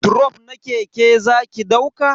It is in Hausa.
Drof na keke zaki dauka?